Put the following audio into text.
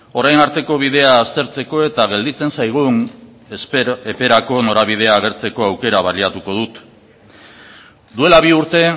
orain arteko bidea aztertzeko eta gelditzen zaigun eperako norabidea agertzeko aukera baliatuko dut duela bi urte